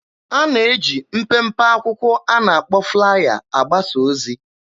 A na-eji mpempe akwụkwọ a na-akpọ 'flaya' agbasa ozi.